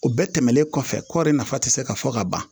O bɛɛ tɛmɛnen kɔfɛ kɔɔri nafa tɛ se ka fɔ ka ban